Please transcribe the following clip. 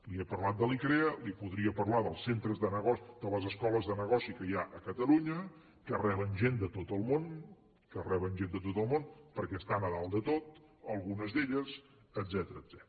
li he parlat d’icrea li podria parlar de les escoles de negoci que hi ha a catalunya que reben gent de tot el món que reben gent de tot el món perquè estan a dalt de tot algunes d’elles etcètera